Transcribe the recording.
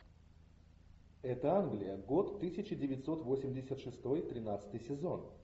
это англия год тысяча девятьсот восемьдесят шестой тринадцатый сезон